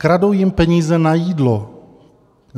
Kradou jim peníze na jídlo.